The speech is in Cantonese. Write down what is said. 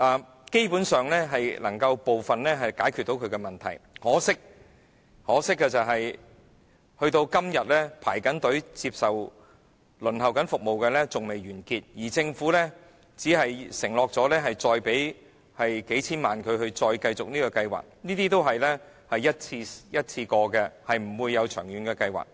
務，基本上可解決部分問題，可惜直至今天，仍然有人在輪候接受服務，而政府只承諾再次撥款數千萬元以繼續有關的計劃，但這只是一次過的撥款，並非一項長遠計劃。